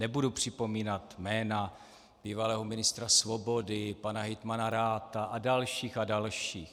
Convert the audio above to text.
Nebudu připomínat jména bývalého ministra Svobody, pana hejtmana Ratha a dalších a dalších.